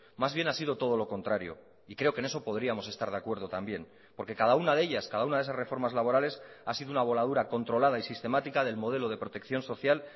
más bien ha sido todo lo contrario y creo que en eso podríamos estar de acuerdo también porque cada una de ellas cada una de esas reformas laborales ha sido una voladura controlada y sistemática del modelo de protección social